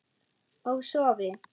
Og sofi.